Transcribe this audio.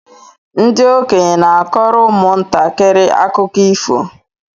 Ndị okenye n'akọrọ ụmụ ntakịrị akụkọ ifo